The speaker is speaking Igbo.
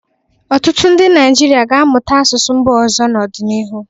Ọtụtụ ndị Naịjirịa ga-amụta asụsụ mba ọzọ n'ọdịnihu.